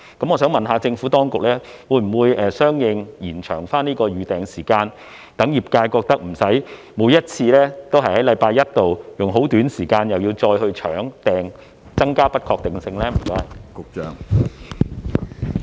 我想問，政府當局會否相應延長預訂時間，讓業界無須每次都要在星期一去"搶"訂，因而增加不確定性呢？